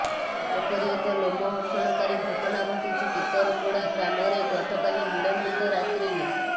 ଏପରି ଏକ ଲୋମହର୍ଷଣକାରୀ ଘଟଣା ଘଟିଛି ଟିକରପୋଡା ଗ୍ରାମରେ ଗତକାଲି ବିଳମ୍ବିତ ରାତ୍ରିରେ